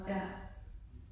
Ja